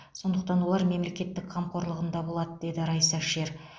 сондықтан олар мемлекеттің қамқорлығында болады деді райса шер